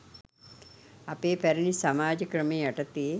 අපේ පැරණි සමාජ ක්‍රමය යටතේ